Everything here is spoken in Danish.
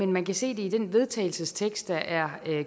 man kan se det i den vedtagelsestekst der er